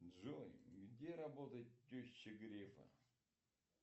джой где работает теща грефа